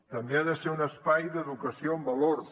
també ha de ser un espai d’educació en valors